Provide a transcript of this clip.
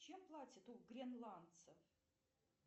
чем платят у гренландцев